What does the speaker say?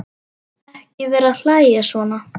Ekki vera að hlæja svona.